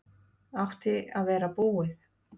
Átti að vera búið